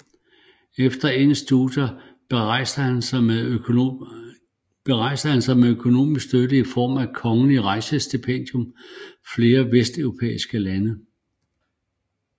Efter endte studier berejste han med økonomisk støtte i form af et kongelig rejsestipendium flere vesteuropæiske lande